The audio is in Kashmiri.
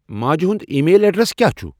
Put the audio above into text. ماجِہ ہُند ای میل ایڈرس کیا چُھ ؟